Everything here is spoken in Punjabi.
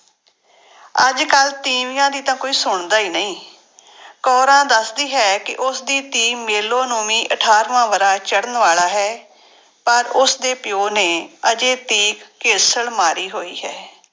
ਅੱਜ ਕੱਲ੍ਹ ਤੀਵੀਆਂ ਦੀ ਤਾਂ ਕੋਈ ਸੁਣਦਾ ਹੀ ਨਹੀਂ ਕੋਰਾਂ ਦੱਸਦੀ ਹੈ ਕਿ ਉਸਦੀ ਧੀ ਮੇਲੋ ਨੂੰ ਵੀ ਅਠਾਰਵਾਂ ਵਰ੍ਹਾ ਚੜ੍ਹਨ ਵਾਲਾ ਹੈ ਪਰ ਉਸਦੇ ਪਿਓ ਨੇ ਹਜੇ ਤੀਕ ਘੇਸਲ ਮਾਰੀ ਹੋਈ ਹੈ।